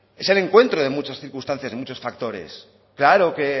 es el encuentro de muchas circunstancias y muchos factores claro que